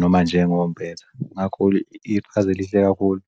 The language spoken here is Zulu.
noma njengo mpetha ngakho-ke iqhazelihle kakhulu.